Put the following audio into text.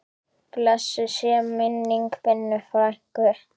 Blessuð sé minning Binnu frænku.